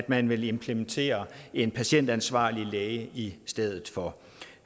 man vil implementere en patientansvarlig læge i stedet for